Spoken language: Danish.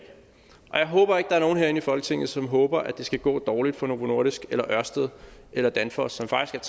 og jeg håber ikke er nogen herinde i folketinget som håber at det skal gå dårligt for novo nordisk ørsted eller danfoss som faktisk